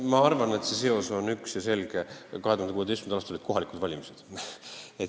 Ma arvan, et seos on üks ja selge: 2016. aastal olid kohalikud valimised.